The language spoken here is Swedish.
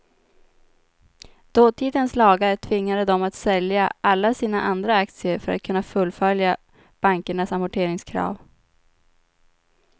Dåtidens lagar tvingade dem att sälja alla sina andra aktier för att kunna fullfölja bankernas amorteringskrav.